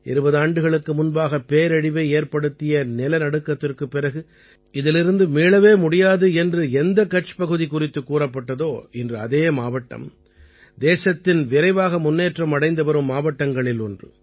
20 ஆண்டுகளுக்கு முன்பாக பேரழிவை ஏற்படுத்திய நிலநடுக்கத்திற்குப் பிறகு இதிலிருந்து மீளவே முடியாது என்று எந்தக் கட்ச் பகுதி குறித்துக் கூறப்பட்டதோ இன்று அதே மாவட்டம் தேசத்தின் விரைவாக முன்னேற்றம் அடைந்துவரும் மாவட்டங்களில் ஒன்று